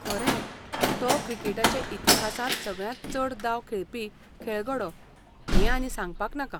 खरें. तो क्रिकेटाचे इतिहासांत सगळ्यांत चड दाव खेळपी खेळगडो हें आनी सांगपाक नाका.